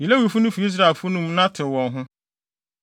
“Yi Lewifo no fi Israelfo no mu na tew wɔn ho.